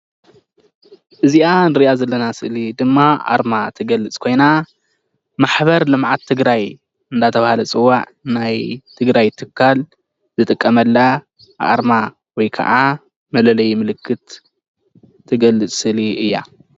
እዚኣ ንርእያ ዘለና ስእሊ ድማ ኣርማ ትገልጽ ኮይና ማሕበር ልምዓት ትግራይ እንዳተባህለ ዝፅዋዕ ናይ ትግራይ ትካል ዝጥቀመላ ኣርማ ወይ ከኣ መለለዪ ምልክት ትገልጽ ስእሊ እያ።